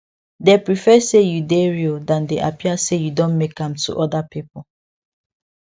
dey prefer say you dey real than dey appear say you don make am to other people